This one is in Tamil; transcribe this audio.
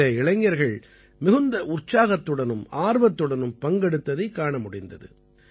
இதிலே இளைஞர்கள் மிகுந்த உற்சாகத்துடனும் ஆர்வத்துடனும் பங்கெடுத்ததைக் காண முடிந்தது